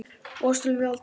Og ástalíf aldraðra.